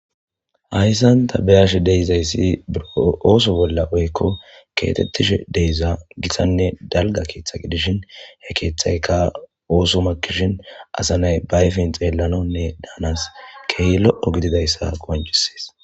Hayisani ta betashe dizayisi buro kexetishe diza daligga ketha gidishini he kethayika osso makishini assa nayi ba ayifeni xelanawu kehi lo gidizayisa qoncisesi